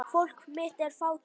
Fólk mitt er fátækt.